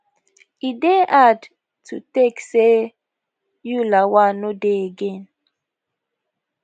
e dey had to take say you lawal no dey again